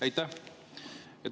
Aitäh!